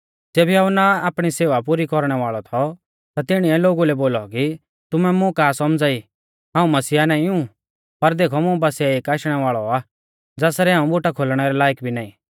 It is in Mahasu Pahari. ज़ेबी यहुन्ना आपणी सेवा पुरी कौरणै वाल़ौ थौ ता तिणीऐ लोगु लै बोलौ कि तुमै मुं का सौमझ़ा ई हाऊं मसीहा नाईं ऊ पर देखौ मुं बासिऐ एक आशणै वाल़ौ आ ज़ासरै हाऊं बुटा खोलणै रै लायक भी नाईं